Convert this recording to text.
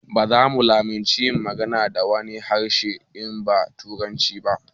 Baza mu lamunci yin magana da wani harshe in ba turanci ba